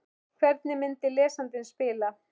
Hvernig myndi lesandinn spila?